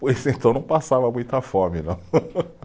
Pois então não passava muita fome, não.